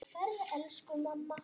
Hún var frábær.